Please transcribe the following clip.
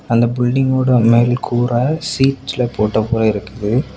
அந்த பில்டிங் ஓட மேல் கூற ஷீட்ஸ்ல போட்ட போல இருக்குது.